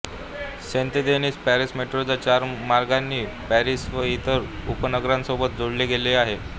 Saint Denis Paris मेट्रोच्या चार मार्गांनी पॅरिस व इतर उपनगरांसोबत जोडले गेले आहे